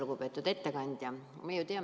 Lugupeetud ettekandja!